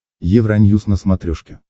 евроньюс на смотрешке